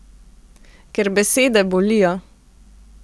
Ker besede bolijo.